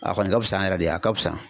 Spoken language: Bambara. A kɔni ka fisa an yɛrɛ de ye a ka fisa